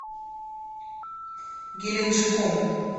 геленджиком